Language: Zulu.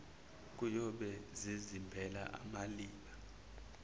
kuyobe zizimbela amaliba